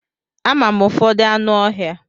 Ama m ụfọdụ anụ ọhịa.